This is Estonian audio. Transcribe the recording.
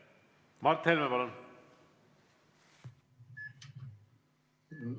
Mart Helme, palun!